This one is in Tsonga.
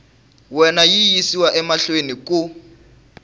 wena yi yisiwa mahlweni ku